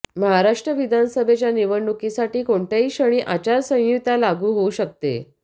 महाराष्ट्र विधानसभेच्या निवडणुकीसाठी कोणत्याही क्षणी आचारसंहिता लागू होऊ शकते